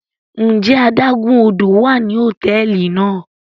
Njẹ àdàgun ódò wa ni hotẹẹli náa?